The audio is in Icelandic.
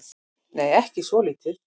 Nei, ekki svolítið.